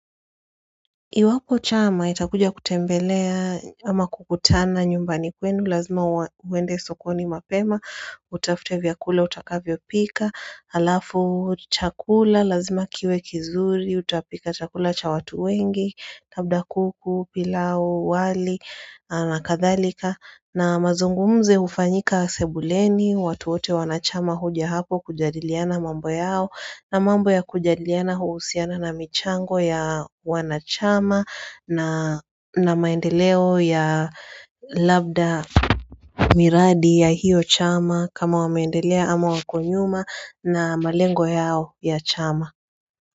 Iwapo chama, itakuja kutembelea ama kukutana nyumbani kwenu, lazima uende sokoni mapema, utafute vyakula, utakavyo pika, alafu chakula, lazima kiwe kizuri, utapika chakula cha watu wengi, labda kuku, pilau, wali, na kadhalika na mazungumzo hufanyika sebuleni, watu wote wana chama hoja hapo kujadiliana mambo yao na mambo ya kujadiliana huhusiana na michango ya wanachama na na maendeleo ya labda miradi ya hiyo chama kama wameendelea ama wako nyuma na malengo yao ya chama.